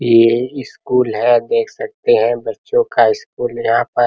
ये स्कूल है आप देख सकते हैं बच्चों का स्कूल है यहां पर।